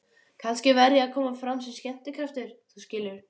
Kannski verð ég að koma fram sem skemmtikraftur, þú skilur.